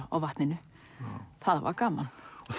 á vatninu það var gaman